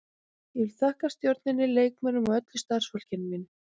Ég vil þakka stjórninni, leikmönnunum og öllu starfsfólki mínu.